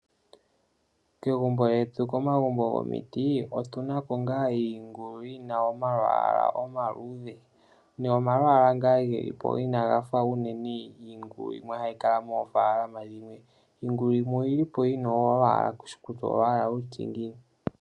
Kegumbo lyetu, komagumbo gomiti otu na ko iingulu yi na omalwaala omaluudhe nomalwaala ngaa ge li po inaaga fa unene iingulu yimwe hayi kala moofaalama dhimwe. Iingulu yimwe oyi li po yi na omalwaala ku shi kutya olwaala lwa tya ngiini.